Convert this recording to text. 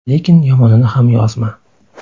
Lekin yomonini ham yozma.